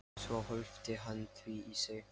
Svo hvolfdi hann því í sig.